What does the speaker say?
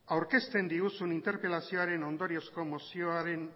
aurkezten diguzun interpelazioaren ondoriozko mozioan